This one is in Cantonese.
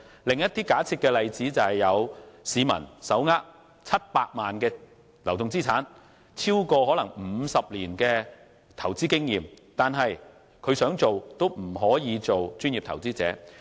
另一假設例子是某市民手握700萬元的流動資產，以及可能有超過50年的投資經驗，然而，即使他想成為"專業投資者"，卻仍不可能。